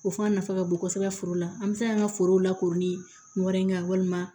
O fana nafa ka bon kosɛbɛ foro la an bɛ se k'an ka foro lakori kun wɛrɛ kan walima